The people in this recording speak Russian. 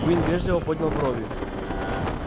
куинн вежливо поднял брови